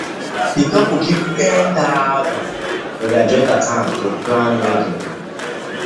the couple keep ten thousand for their joint account to plan wedding